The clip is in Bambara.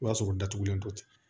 O b'a sɔrɔ o datugulen to ten